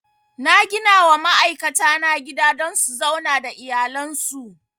Na ginawa ma'aikata na gida don su zauna da iyalan su